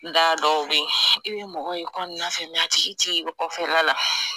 Da dɔ bɛyi i bɛ mɔgɔ ye kɔnɔnafɛ a tigi t'i ye kɔfɛla la.